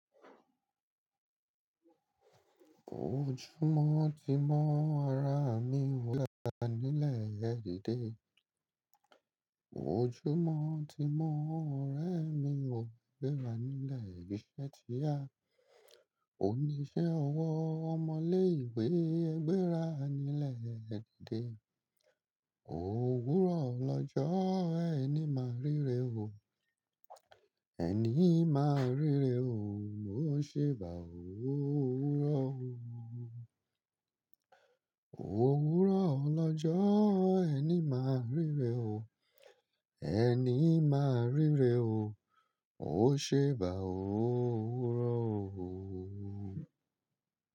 Ojúmọ̀ tì mọ́ ara mi e gbéra nílẹ̀ ẹdíde. Ojúmọ̀ tì mọ́ ọ̀rẹ́ mi ò gbéra nílẹ̀ ìṣẹ̀ tiya. Oníṣẹ́ ọwọ́ ọmọ ile ìwé ẹ gbéra nílẹ̀ ẹ díde. Ó wúrọ̀ lọjọ́ ẹni máa ríre o. Ẹní i máa ríre o, ó ṣèbà ó owúrọ̀ o. Ó wúrọ̀ lọ́jọ́ ẹni máa ríre o. Ẹni máa ríre o, ó ṣe bá ò ó wúrọ̀ o.